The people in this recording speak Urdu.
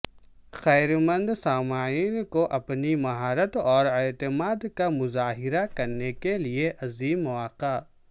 خیر مند سامعین کو اپنی مہارت اور اعتماد کا مظاہرہ کرنے کے لئے عظیم مواقع